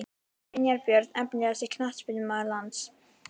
Brynjar Björn Efnilegasti knattspyrnumaður landsins?